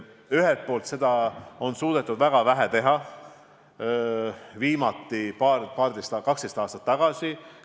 Ühelt poolt seda on suudetud väga vähe teha, viimati 12 aastat tagasi.